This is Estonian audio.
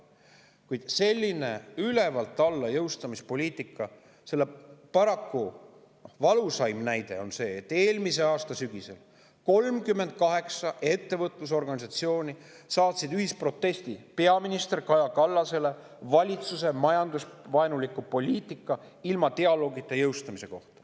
Kuid sellise ülevalt alla jõustamise poliitika valusaim näide on see, et eelmise aasta sügisel saatsid 38 ettevõtlusorganisatsiooni ühisprotesti peaminister Kaja Kallasele selle kohta, et valitsus jõustab majandusvaenulikku poliitikat ilma dialoogita.